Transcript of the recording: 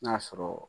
N'a sɔrɔ